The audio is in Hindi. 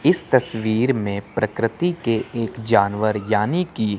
इस तस्वीर में प्रकृति एक जानवर यानी की--